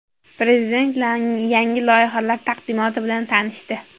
Prezident yangi loyihalar taqdimoti bilan tanishdi.